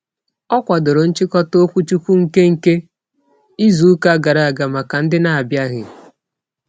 Ọ kwadoro nchịkọta okwuchukwu nke nke izuụka gara aga maka ndị n'abịaghị.